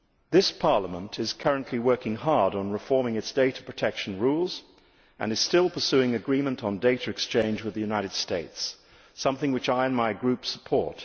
This Parliament is currently working hard on reforming its data protection rules and is still pursuing agreement on data exchange with the United States, something which I and my Group support.